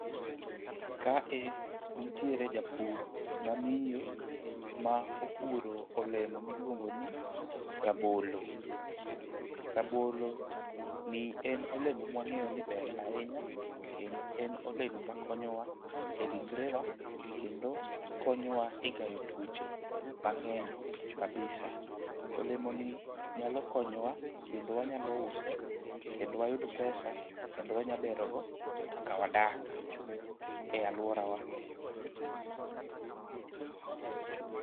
Kae nitiere japur mamiyo ma opuro olemo miluongo ni rabolo. Rabolo ni en olemo mwang'eyo ni ber ahinya kendo en olemo makonyowa e ringrewa kendo, konyowa e gayo tuoche mang'eny kabisa olemo ni nyalo konyowa kendo wanyalo use kendo wayud pesa kendo wanya bero wa kaka wadak e aluorawa